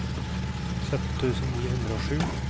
sytten tusen ni hundre og sju